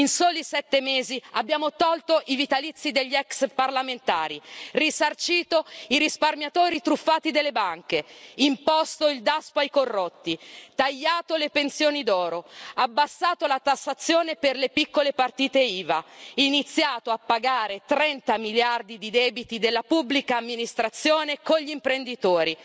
In soli sette mesi abbiamo tolto i vitalizi degli ex parlamentari, risarcito i risparmiatori truffati delle banche, imposto il Daspo ai corrotti, tagliato le pensioni d'oro, abbassato la tassazione per le piccole partite IVA e iniziato a pagare 30 miliardi di debiti della pubblica amministrazione nei confronti degli imprenditori.